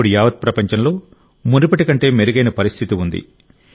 ఇప్పుడు యావత్ ప్రపంచంలో మునుపటి కంటే మెరుగైన పరిస్థితి ఉంది